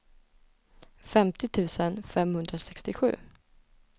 femtio tusen femhundrasextiosju